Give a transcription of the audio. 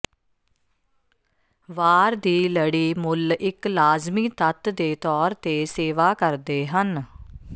ਵਾਰ ਦੀ ਲੜੀ ਮੁੱਲ ਇੱਕ ਲਾਜ਼ਮੀ ਤੱਤ ਦੇ ਤੌਰ ਤੇ ਸੇਵਾ ਕਰਦੇ ਹਨ